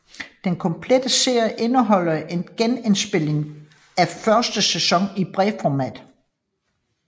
Den Komplette Serie indeholder en genindspilning af første sæson i bredformat